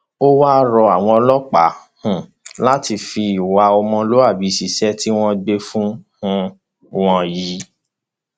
ó wáá rọ àwọn ọlọpàá um láti fi ìwà ọmọlúàbí ṣiṣẹ tí wọn gbé fún um wọn yìí